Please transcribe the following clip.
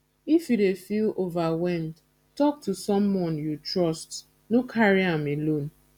if you dey feel overwhelmed tok to someone you trust no carry am alone